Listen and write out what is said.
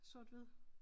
Sort hvid